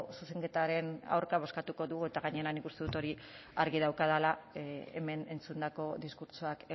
zuzenketaren aurka bozkatuko dugu eta gainera nik uste dut argi daukadala hemen entzundako diskurtsoak